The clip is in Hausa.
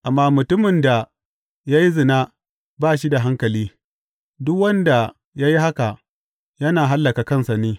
Amma mutumin da ya yi zina ba shi da hankali; duk wanda ya yi haka yana hallaka kansa ne.